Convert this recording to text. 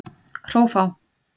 Hrófá